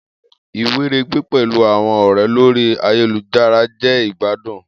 Iweregbe pẹlu awọn ọrẹ lori ayelujara jẹ igbadun.